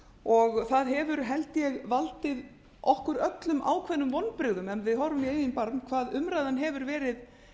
og það hefur held ég valdið okkur öllum ákveðnum vonbrigðum ef við horfum í eigin barm hvað umræðan hefur verið